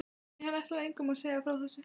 Nei, hann ætlaði engum að segja frá þessu.